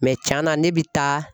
tiɲɛna ne bi taa